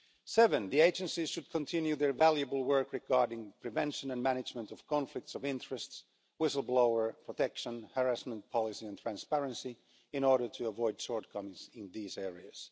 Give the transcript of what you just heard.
Seven, the agencies should continue their valuable work regarding prevention and management of conflicts of interest, whistleblower protection, harassment policy and transparency in order to avoid shortcomings in these areas.